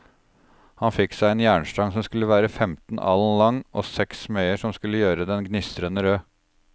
Han fikk seg en jernstang som skulle være femten alen lang, og seks smeder som skulle gjøre den gnistrende rød.